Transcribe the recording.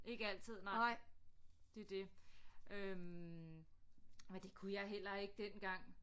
Ikke altid nej det er det øh og det kunne jeg heller ikke dengang